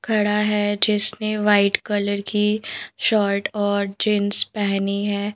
खड़ा है जिसने व्हाइट कलर की शर्ट और जींस पहनी है।